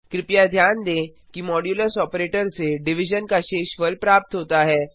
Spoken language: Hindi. कृपया ध्यान दें कि मॉड्यूलस ऑपरेटर से डिविजन का शेषफल प्राप्त होता है